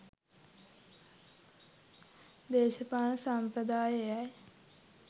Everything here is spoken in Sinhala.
දේශපාලන සම්ප්‍රදාය එයයි.